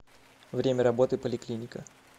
время работы поликлиника